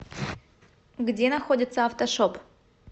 где находится автошоп